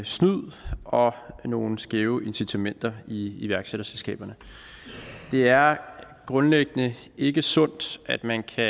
snyd og nogle skæve incitamenter i iværksætterselskaberne det er grundlæggende ikke sundt at man kan